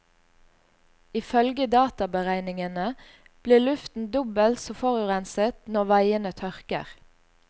Ifølge databeregningene blir luften dobbelt så forurenset når veiene tørker.